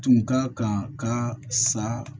Tun ka kan ka sa